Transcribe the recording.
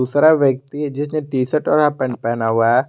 दूसरा व्यक्ति है जिसने टी शर्ट और हाफ पैंट पहना हुआ है।